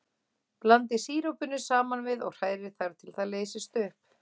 Blandið sírópinu saman við og hrærið þar til það leysist upp.